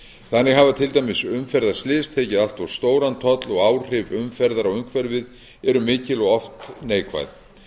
þannig hafa til dæmis umferðarslys tekið allt of stóran toll og áhrif umferðar á umhverfið eru mikil og oft neikvæð